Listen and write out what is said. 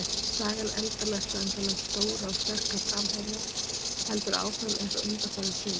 Sagan endalausa um þennan stóra og sterka framherja heldur áfram eins og undanfarin sumur.